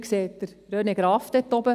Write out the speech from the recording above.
Sie sehen René Graf dort oben.